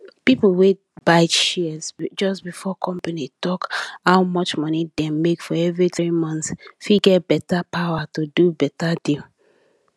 people wey buy shares just before company talk how much money dem make for every 3 months fit get better power to do beta deal